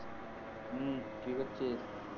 হম কি করছিস